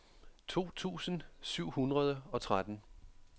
to tusind syv hundrede og tretten